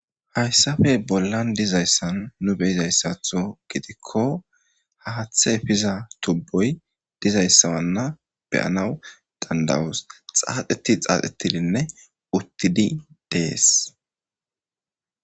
hayssafe bollan dizayssan nu beyizayssatho gidikko haaththe piza tubboy dizayssawanna beyanaw dandawoos xaaxeti xaaxetidinne uttidi dees